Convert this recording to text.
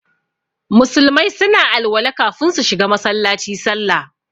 Musulmai suna alwala kafin su shiga Masallaci sallah.